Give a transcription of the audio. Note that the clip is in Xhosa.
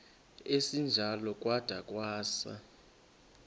esinjalo kwada kwasa